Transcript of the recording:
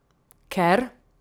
Ker?